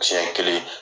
Siɲɛ kelen